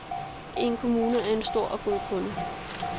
En kommune er en stor og god kunde.